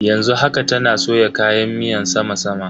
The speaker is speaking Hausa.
Yanzu haka, tana soya kayan miyan sama sama.